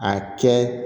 A kɛ